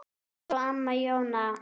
Elsku amma Jóna.